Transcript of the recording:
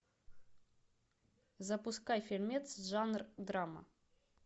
запускай фильмец жанр драма